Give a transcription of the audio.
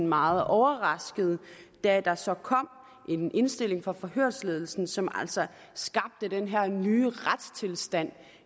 meget overraskede da der så kom en indstilling fra forhørsledelsen som altså skabte den her nye retstilstand